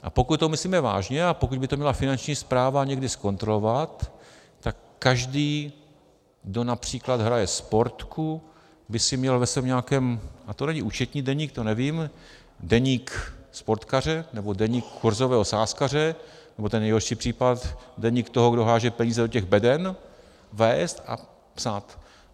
A pokud to myslíme vážně a pokud by to měla Finanční správa někdy zkontrolovat, tak každý, kdo například hraje Sportku, by si měl ve svém nějakém, a to není účetní deník, to nevím, deník sportkaře nebo deník kurzového sázkaře, nebo ten nejhorší případ, deník toho, kdo háže peníze do těch beden, vést a psát.